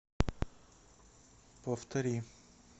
повтори